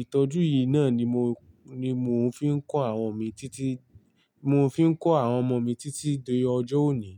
ìtọ́jú yìí náà ni mo, ni mò ń fi ń kọ́ àwọn mi títí, mo fi ń kọ́ àwọn ọmọ mi títí di ọjọ́ òní.